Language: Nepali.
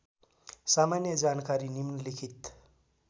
सामान्य जानकारी निम्नलिखित